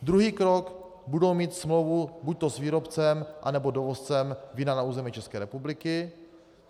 Druhý krok, budou mít smlouvu buďto s výrobcem, anebo dovozcem vína na území České republiky.